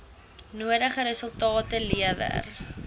nodige resultate lewer